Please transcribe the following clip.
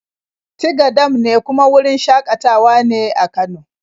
Tiga dam ne kuma wurin shaƙatawa ne a Kano.